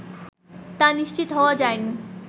তা নিশ্চিত হওয়া যায়নি